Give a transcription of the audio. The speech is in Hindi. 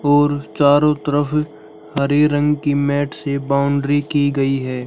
और चारों तरफ हरे रंग की मैट से बाउंड्री की गई है।